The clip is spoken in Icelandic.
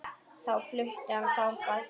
Þá flutti hann þangað.